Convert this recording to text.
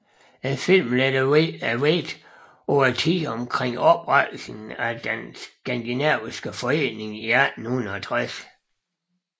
Filmen lægger vægten på tiden omkring oprettelsen af den skandinaviske forening i 1860